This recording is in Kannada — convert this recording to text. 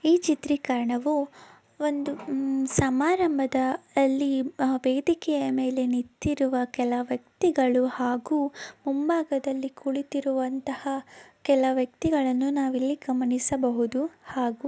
ಈ ಚಿತ್ರೀಕರಣವು ಒಂದು ಉಮ್ಮ್ ಸಮಾರಂಭದ ಅಲ್ಲಿ ಆ ವೇದಿಕೆಯ ಮೇಲೆ ನಿಂತಿರುವ ಕೆಲ ವ್ಯಕ್ತಿಗಳು ಹಾಗೂ ಮುಂಭಾಗದಲ್ಲಿ ಕುಳಿತಿರುವಂತಹ ಕೆಲ ವ್ಯಕ್ತಿಗಳನ್ನು ನಾವಿಲ್ಲಿ ಗಮನಿಸಬಹುದ ಹಾಗೂ --